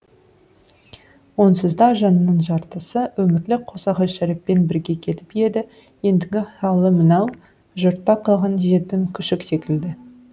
онсызда жанының жартысы өмірлік қосағы шәріппен бірге кетіп еді ендігі халі мынау жұртта қалған жетім күшік секілді